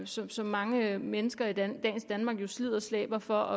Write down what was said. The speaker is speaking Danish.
som som mange mennesker i dagens danmark jo slider og slæber for